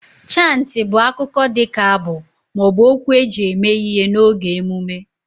Chantị bụ akụkọ dị ka abụ ma ọ bụ okwu eji eme ihe n'oge emume